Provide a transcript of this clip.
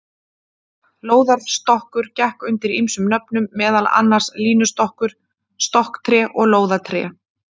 Lóðarstokkur gekk undir ýmsum nöfnum, meðal annars línustokkur, stokktré og lóðatré.